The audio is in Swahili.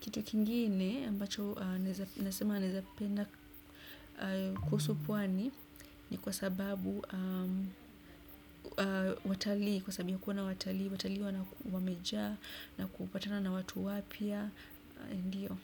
kitu kingine ambacho nasema naweza penda kuhusu pwani ni kwa sababu watalii kwa sababu ya kuona watalii watalii wamejaa na kupatana na watu wapya ndio.